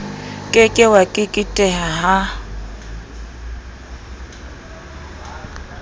ke ke wa keketeha ha